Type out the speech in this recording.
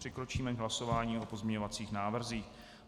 Přikročíme k hlasování o pozměňovacích návrzích.